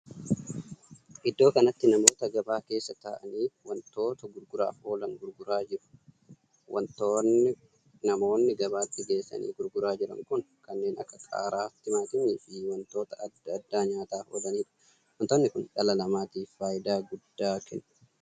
Iddoo kanatti namoota gabaa keessa taa'anii wantoota gurguraaf oolan gurguraa jiru. wantoonni namoonni gabaatti geessanii gurguraa jiran kun kanneen akka qaaraa, timaatimiifl fi wantoota addaa addaa nyaataaf oolanidha. wantoonni Kun dhala namaatiif faayidaa guddaa kenna.